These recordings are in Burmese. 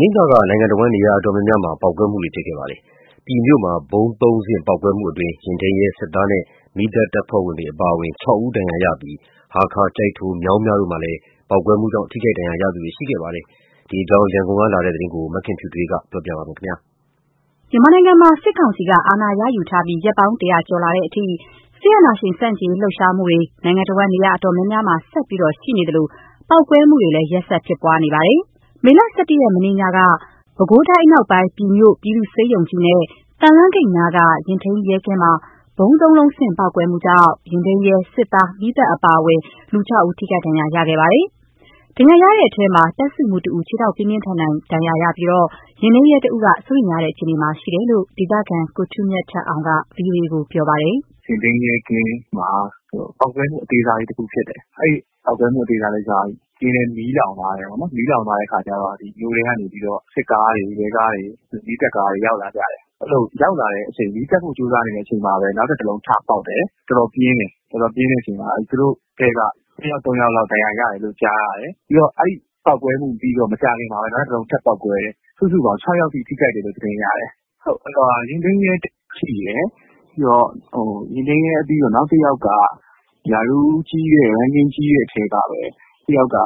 နေ့ညက နိုင်ငံတစ်ဝန်း နေရာအတော်များများမှာ ပေါက်ကွဲမှုတွေ ဖြစ်ပွားခဲ့ပါတယ်။ ပြည်မြို့ ဗုံးသုံးဆင့် ပေါက်ကွဲမှုမှာ ယာဉ်ထိန်းရဲ၊ စစ်သား၊ မီးသတ်တပ်ဖွဲ့အပါအဝင် ၆ ဦးဒဏ်ရာရရှိပြီး ဟားခါး၊ ကျိုက်ထို၊ မြောင်းမြတို့မှာလည်း ပေါက်ကွဲမှုကြောင့် ထိခိုက်ဒဏ်ရာရရှိသူတွေလည်း ရှိနေပါတယ်။ ဒီအကြောင်း ရန်ကုန်ကလာတဲ့ သတင်းကိုတော့ မခင်ဖြူထွေးက တင်ပြပေးပါမယ်။ မြန်မာနိုင်ငံမှာ စစ်ကောင်စီက အာဏာရယူထားပြီး ရက်ပေါင်း ၁၀၀ ကျော်လာတဲ့အထိ စစ်အာဏာရှင်ဆန့်ကျင်ရေးလှုပ်ရှားမှုတွေ နိုင်ငံတစ်ဝန်း နေရာအများအပြားမှာ ဆက်ရှိနေသလို ပေါက်ကွဲမှုလည်း ရက်ဆက်ဖြစ်ပွားနေပါတယ်။ မေလ ၁၁ ရက်၊ မနေ့ညမှာ ပဲခူးတိုင်းအနောက်ပိုင်း ပြည်မြို့ ပြည်သူ့ဆေးရုံကြီးနဲ့ သံလမ်းဂိတ်နားက ယာဉ်ထိန်းရဲကင်းမှာ ဗုံးသုံးလုံးဆင့် ပေါက်ကွဲမှုကြောင့် ယာဉ်ထိန်းရဲ၊ စစ်သား၊ မီးသတ်အပါအဝင် ၆ ဦး ထိခိုက်ဒဏ်ရာခဲ့ပါတယ်။ ဒဏ်ရာရတဲ့အထဲမှာ တပ်စုမှူးတစ်ဦး ခြေထောက်ပြင်းထန်ဒဏ်ရာနဲ့ ယာဉ်ထိန်းရဲတစ်ဦးက စိုးရိမ်ရတဲ့ အခြေအနေမှာရှိတယ်လို့ ဒေသခံ ကိုထူးမြတ်ထက်အောင်က ဗွီအိုအေကို ပြောပါတယ်။ “ယာဉ်ထိန်းရဲကင်းမှာ ပေါက်ကွဲမှု အသေးစားလေး တစ်ခုဖြစ်တယ်။ အဲ့ဒီပေါက်ကွဲမှုအသေးစားလည်းကျတော့ ကင်းလည်း မီးလောင်သွားတယ်တယ်ပေါ့နော်။ မီးလောင်သွားတဲ့ အခါကျတော့ မြို့ထဲကနေပြီးတော့ စစ်ကားတွေ၊ ရဲကားတွေ၊ မီးသတ်ကားတွေ ရောက်လာကြတယ်။ အဲ့ဒီလိုရောက်လာတဲ့အချိန် မီးသတ်ဖို့ ကြိုးစားနေတဲ့အချိန်မှာ နောက်ထပ်တစ်လုံးထပေါက်တယ်။ တော်တော်ပြင်းတယ်။ တော်တော်ပြင်းတဲ့အချိန်မှာ သူတို့အထဲက နှစ်ယောက်၊ သုံးယောက်လောက် ဒဏ်ရာရတယ်လို့ ကြားရတယ်။ ပြီးတော့ အဲ့ဒီပေါက်ကွဲမှု ပြီးတော့ မကြာခင်မှာပဲ နောက်ထပ်တစ်လုံးထပ်ပေါက်ကွဲတယ်။ စုစုပေါင်း ၆ ယောက်အထိ ထိခိုက်တယ်လို့ သတင်းရတယ်။ ယာဉ်ထိန်းရဲ ထိတယ်။ ယာဉ်ထိန်းရဲ ပြီးတော့ နောက်တစ်ယောက်က ရာထူးကြီးတဲ့ အထဲကပဲ တစ်ယောက်က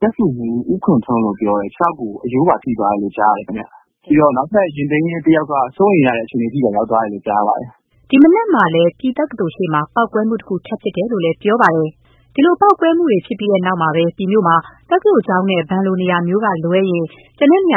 တပ်စုမှူး ဦးခွန်ထွန်းလို့ ပြောတယ်။ ခြေထောက်ကို အရိုးပါ ထိသွားတယ်လို့ ကြားတယ်ခင်ဗျ။ ပြီးတော့ နောက်ထပ်ယာဉ်ထိန်းရဲ တစ်ယောက်က စိုးရိမ်ရတဲ့ အခြေအနေအထိပါ ရောက်သွားလို့ကြားတယ်။” ဒီမနက်မှာလည်း ပြည်တက္ကသိုလ်ရှေ့မှာ ပေါက်ကွဲမှုတစ်ခု ထပ်ဖြစ်တယ်လို့လည်း ပြောပါတယ်။ ပြည်မြို့မှာ ပေါက်ကွဲမှုဖြစ်ပွားပြီးနောက် တက္ကသိုလ်ကျောင်းနဲ့ ဘဏ်တို့လို နေရာမျိုးက လွဲရင် လုံခြုံ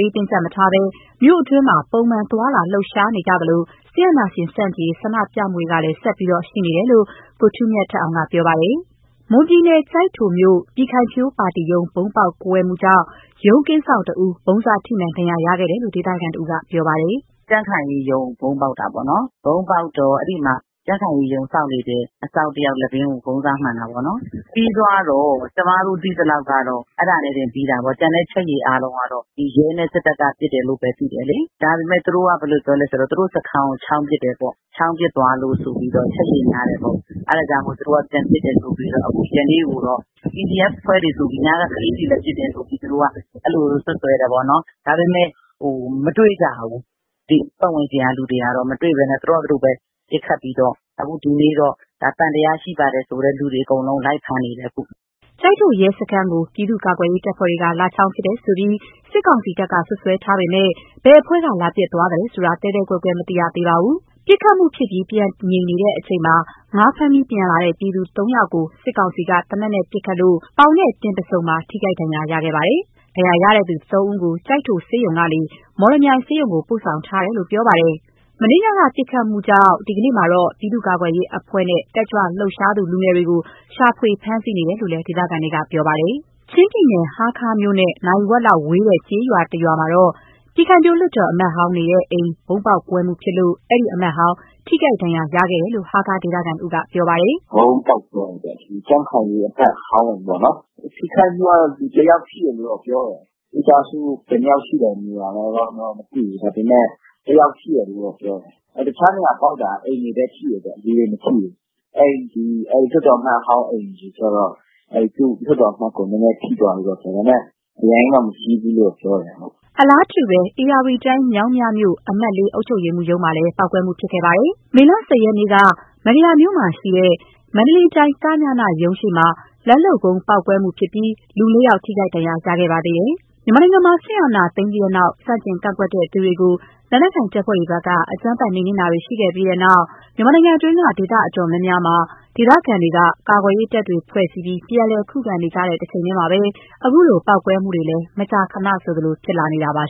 ရေးတင်းကြပ်မထားဘဲ မြို့အတွင်းမှာ မှန်ပုံသွားလာလှုပ်ရှားနေကြသလို စစ်အာဏာရှင်ဆန့်ကျင်ရေး ဆန္ဒပြမှုလည်း ဆက်ရှိနေတယ်လို့ ကိုထူးမြတ်ထက်အောင်က ပြောပါတယ်။ မွန်ပြည်နယ်၊ ကျိုက်ထိုမြို့ ပြည်ခိုင်ဖြိုးပါတီရုံး ဗုံးပေါက်ကွဲမှုကြောင့် ရုံးကင်းစောင့်တစ်ဦး ဗုံးစထိမှန် ဒဏ်ရာရှိခဲ့တယ်လို့ ဒေသခံတစ်ဦးက ပြောပါတယ်။ “ကြံ့ခိုင်ရေးရုံးကို ဗုံးပေါက်တာပေ့ါနော်။ ဗုံးပေါက်တော့ အဲ့ဒီမှာ ကြံ့ခိုင်ရေးရုံးစောင့်နေတဲ့ အစောင့်တစ်ယောက် လည်ပင်းကို ဗုံးစမှန်တာပေ့ါနော်။ ပြီးသွားတော့ ကျမတို့သိသလောက်ကတော့ အဲ့ဒါနဲ့တင်ပြီးသွားတာ။ ကျန်တဲ့ အချက်ရေအားလုံးကတော့ ဒီရဲနဲ့ စစ်တပ်က ပစ်တယ်လို့ပဲ သိတယ်လေ။ ဒါပေမဲ့ သူတို့က ဘယ်လိုပြောလဲဆိုတော့ သူတို့စခန်းကို ချောင်းပစ်တယ်ပေါ့။ ချောင်းပစ်သွားလို့ ဆိုပြီးတော့ အချက်အရေ များတယ်ပေ့။ါ အဲ့ဒါကြောင့်မို့ သူတို့က ပြန်ပစ်တယ်ဆိုပြီးတော့။ အခုကပြန်ပြီးတော့ PDF အဖွဲ့တွေဆိုပြီး ညက ကလေးတွေလည်း ပစ်တယ်လို့ သူတို့ကတော့ အဲ့ဒီလိုစွပ်စွဲတယ်ပေါ့နော်။ ဒါပေမဲ့ မတွေ့ကြဘူး။ ဒီပတ်ဝန်းကျင်က လူတွေက မတွေ့ဘူး။ သူတို့ဟာ သူတို့ပဲ ပစ်ခတ်ပြီးတော့။ အခုဒီနေ့တော့ သံသယရှိပါတယ်ဆိုတဲ့ လူတွေ အကုန်လုံး လိုက်ဖမ်းနေတယ် အခု။” ကျိုက်ထို ရဲစခန်းကို ပြည်သူ့ကာကွယ်ရေးတပ်ဖွဲ့က လာချောင်းပစ်တယ်ဆိုပြီး စစ်ကောင်စီတပ်က စွပ်စွဲထားပေမဲ့ ဘယ်အဖွဲ့က လာပစ်သွားသလဲဆိုတာ သဲသဲကွဲကွဲ မသိရသေးပါဘူး။ ပစ်ခတ်မှုဖြစ်ပြီး ပြန်ငြိမ်နေတဲ့အချိန်မှာ ငါးဖမ်းပြီး ပြန်လာတဲ့ ပြည်သူသုံးဦးကို စစ်ကောင်စီက သေနတ်နဲ့ ပစ်ခတ်လို့ ပေါင်၊ တင်ပါးဆုံ ထိခိုက်ဒဏ်ရာရှိခဲ့ပါတယ်။ ဒဏ်ရာရရှိသူ သုံးဦးကို ကျိုက်ထိုဆေးရုံကနေ မော်လမြိုင်ဆေးရုံကို ပိုဆောင်ထားတယ်လို့ ပြောပါတယ်။ မနေ့ညက ပစ်ခတ်မှုကြောင့် ဒီကနေ့မှာတော့ ပြည်သူ့ကာကွယ်ရေးအဖွဲ့နဲ့ တက်ကြွလှုပ်ရှားသူ လူငယ်တွေကို ရှာဖွေဖမ်းဆီးနေတယ်လို့ ဒေသခံတွေ ပြောပါတယ်။ ချင်းပြည်နယ်၊ ဟားခါးမြို့နဲ့ နာရီဝက်လောက်ဝေးတဲ့ ကျေးရွာတစ်ရွာမှာတော့ ပြည်ခိုင်ဖြိုးလွှတ်တော် အမတ်ဟောင်းနေတဲ့ အိမ် ဗုံးပေါက်ကွဲမှုဖြစ်လို့ အဲ့ဒီအမတ်ဟောင်း ထိခိုက်ဒဏ်ရာရရှိခဲ့တယ်လို့ ဟားခါးဒေသခံတစ်ဦးက ပြောပါတယ်။ “ဗုံးပေါက်ကွဲတယ်ပေါ့။ ဒီကြံ့ခိုင်ရေးအမတ်ဟောင်းပေါ့နော်။ ထိခိုက်မှုကတော့ လူတစ်ယောက်ထိတယ်လို့ ပြောတယ်။ မိသားစုဘယ်နှစ်ယောက်ရှိလဲဆိုတာကတော့ မသိဘူး။ ဒါပေမဲ့ တစ်ယောက်ရှိတယ်လို့တော့ ပြောတယ်။ တခြားနေရာပေါက်တာ အိမ်တွေပဲ ထိတယ် လူတွေမထိဘူး။ အဲ့ဒီ လွှတ်တော်အမတ်ဟောင်းအိမ်တွေကျတော့ အဲ့ဒီသူ့လွှတ်တော်အမတ်ကို နည်းနည်းထိသွားတယ်လို့ပြောတယ်။ ဒါပေမဲ့ အရမ်းကြီးတော့ မကြီးဘူးလို့ ပြောတယ်။” အလားတူပဲ ဧရာဝတီတိုင်း၊ မြောင်းမြမြို့ အမှတ် ၄ အုပ်ချုပ်ရေးမှူးရုံးမှာလည်း ပေါက်ကွဲမှုဖြစ်ခဲ့ပါတယ်။ မေလ ၁၀ ရက်နေ့က မန္တရာမြို့မှာရှိတဲ့ မန္တလေးတိုင်း က.ည.န ရုံးရှေ့ လက်လုပ်ဗုံးပေါက်မှုဖြစ်ပြီး လူ ၄ ဦးထိခိုက်ဒဏ်ရာ ရခဲ့ပါသေးတယ်။ မြန်မာနိုင်ငံမှာ စစ်အာဏာသိမ်းပြီးတဲ့နောက် ဆန့်ကျင် ကန့်ကွက်သူတွေကို လက်နက်ကိုင်တပ်ဖွဲ့တွေဘက်က အကြမ်းဖက် နှိမ်နင်းမှုတွေ ရှိခဲ့ပြီးတဲ့နောက်ပိုင်း မြန်မာနိုင်ငံအတွင်းက နေရာဒေသ အတော်များများမှာ ဒေသခံတွေက ကာကွယ်ရေးတပ်တွေ ဖွဲ့စည်းပြီး ပြန်လည် ခုခံနေကြတဲ့ တချိန်တည်းမှာပဲ အခုလို ပေါက်ကွဲမှုတွေလည်း မကြာခဏဆိုလို ဖြစ်ပေါ်လာနေတာပါ